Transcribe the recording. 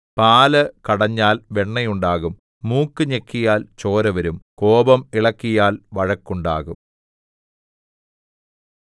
പാല് കടഞ്ഞാൽ വെണ്ണയുണ്ടാകും മൂക്കു ഞെക്കിയാൽ ചോര വരും കോപം ഇളക്കിയാൽ വഴക്കുണ്ടാകും